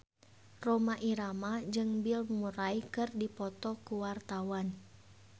Rhoma Irama jeung Bill Murray keur dipoto ku wartawan